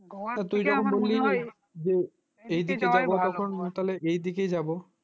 তুই যখন বললি না এই দিকে যাব যখন তো এই দিকেই যাব